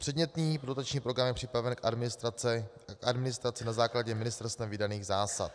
Předmětný dotační program je připraven k administraci na základě ministerstvem vydaných zásad.